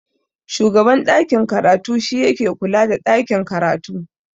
Shugaban ɗakin karatu shi yake kula da ɗakin karatu.